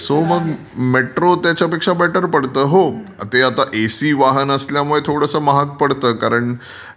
So metro त्याच्यापेक्षा better पडते. हो ते आता एसी वाहन असल्यामुळे थोडसं महाग पडते कारण